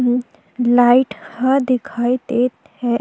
अम्म light ह दिखाई देत हे।